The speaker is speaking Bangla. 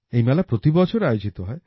এই মেলা প্রতিবছর আয়োজিত হয়